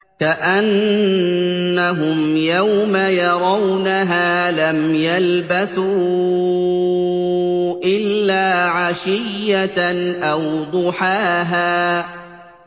كَأَنَّهُمْ يَوْمَ يَرَوْنَهَا لَمْ يَلْبَثُوا إِلَّا عَشِيَّةً أَوْ ضُحَاهَا